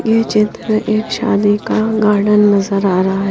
ये चित्र एक शादी का गार्डन नजर आ रहा है।